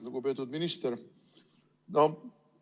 Lugupeetud minister!